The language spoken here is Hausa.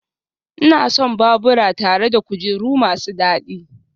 Ina son babura tare da kujeru masu dadi